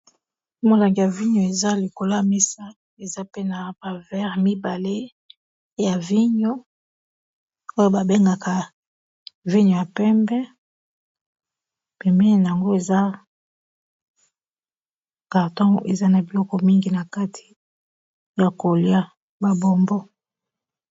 molanga ya vigno eza likolamisa eza pe na bavere mibale ya vigno oyo babengaka vigno ya pembe pemee na yango eza carton eza na biloko mingi na kati ya kolia babombo